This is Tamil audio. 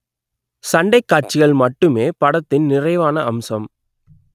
சண்டைக் காட்சிகள் மட்டுமே படத்தின் நிறைவான அம்சம்